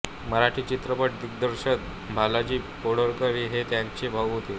मराठी चित्रपट दिग्दर्शक भालजी पेंढारकर हे त्यांचे भाऊ होते